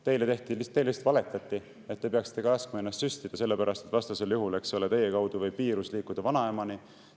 Teile lihtsalt valetati, et te peaksite laskma ennast süstida, sellepärast et vastasel juhul, eks ole, teie kaudu võib viirus liikuda vanaemani.